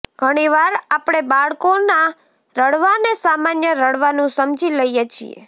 ઘણીવાર આપણે બાળકોના રડવાને સામાન્ય રડવાનું સમજી લઇએ છીએ